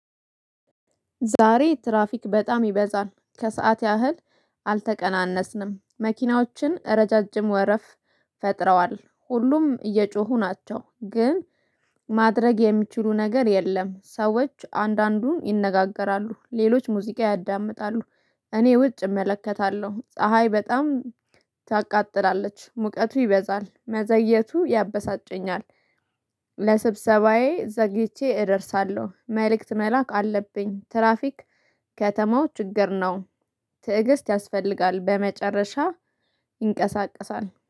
ዛሬ ትራፊክ በጣም ይበዛል ከሰአት ያህል አልተቀናነስንም። መኪናዎችን ረዣዥም ወረፋ ፈጥረዋል ሁሉም እየጮሁ ናቸው ግን ማድረግ የሚችሉት ነገር የለም። ሰዎች አንዳንዱ ይነጋገራሉ ሌሎች ሙዚቃ ያዳምጣሉ። እኔ ውጭ እመለከታለሁ ፀሀይ በጣም ታቃጥላለች ሙቀቱ ይበዛል መዘግየቱ ያበሳጨኛል። ለስብሰባዬ ዘግይቼ እደርሳለሁ መልእክት መላክ አለብኝ። ትራፊክ ከተማው ችግር ነው። ትዕግስት ያስፈልጋል በመጨረሻ ይንቀሳቀሳል